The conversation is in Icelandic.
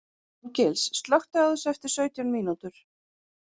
Árgils, slökktu á þessu eftir sautján mínútur.